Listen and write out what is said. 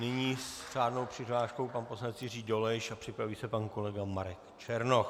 Nyní s řádnou přihláškou pan poslanec Jiří Dolejš a připraví se pan kolega Marek Černoch.